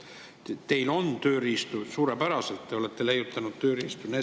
Teil on suurepäraseid tööriistu, te olete leiutanud tööriistu.